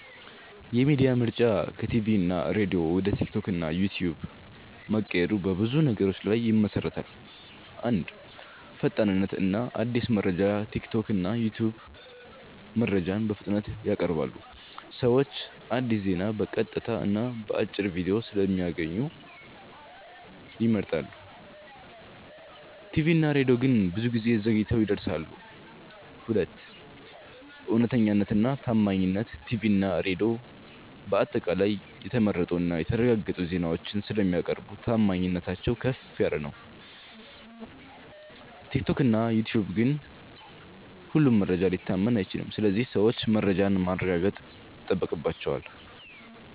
የሚዲያ ምርጫ ከቲቪ እና ሬዲዮ ወደ ቲክቶክ እና ዩትዩብ መቀየሩ በብዙ ነገሮች ላይ ይመሠረታል። 1. ፈጣንነት እና አዲስ መረጃ ቲክቶክ እና ዩትዩብ መረጃን በፍጥነት ያቀርባሉ። ሰዎች አዲስ ዜና በቀጥታ እና በአጭር ቪዲዮ ስለሚያገኙ ይመርጣሉ። ቲቪ እና ሬዲዮ ግን ብዙ ጊዜ ዘግይተው ይደርሳሉ። 2. እውነተኛነት እና ታማኝነት ቲቪ እና ሬዲዮ በአጠቃላይ የተመረጡ እና የተረጋገጡ ዜናዎችን ስለሚያቀርቡ ታማኝነታቸው ከፍ ነው። ቲክቶክ እና ዩትዩብ ግን ሁሉም መረጃ ሊታመን አይችልም ስለዚህ ሰዎች መረጃን ማረጋገጥ ይጠበቅባቸዋል።